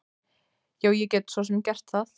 Já, ég get svo sem gert það.